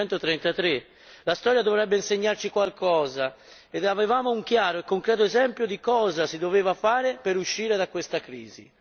1933. La storia dovrebbe insegnarci qualcosa e avevamo un chiaro e concreto esempio di cosa si doveva fare per uscire da questa crisi.